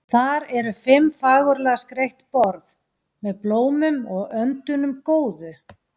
Þar eru fimm fagurlega skreytt borð, með blómum og öndunum góðu.